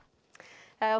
að